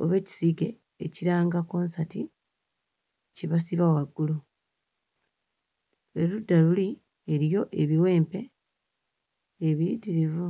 oba ekisiige ekiranga konsati kye basiba waggulu. Erudda luli, eriyo ebiwempe ebiyitirivu.